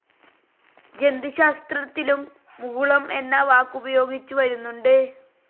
ജന്തുശാസ്ത്രത്തിലും മുകുളം എന്ന വാക്കുപയോഗിച്ചുവരുന്നുണ്ട്.